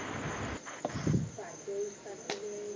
पा चोवीस तास त जाईन